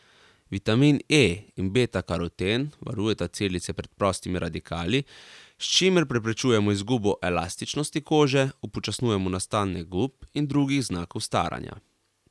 Vitamin E in betakaroten varujeta celice pred prostimi radikali, s čimer preprečujemo izgubo elastičnosti kože, upočasnjujemo nastanek gub in drugih znakov staranja.